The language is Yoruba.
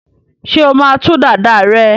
ṣe ọ má tú Dàda rẹ?